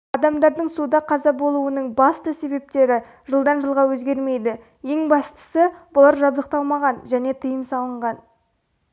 адамдардың суда қаза болуының басты себептері жылдан жылға өзгермейді ең бастысы бұлар жабдықталмаған және тыйым салынған